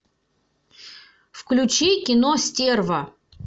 включи кино стерва